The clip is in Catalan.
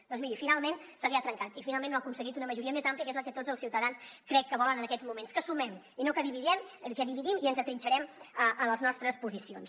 doncs miri finalment se li ha trencat i finalment no ha aconseguit una majoria més àmplia que és el que tots els ciutadans crec que volen en aquests moments que sumem i no que dividim i ens atrinxerem a les nostres posicions